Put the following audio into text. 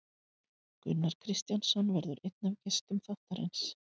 Gunnar Kristjánsson verður einn af gestum þáttarins.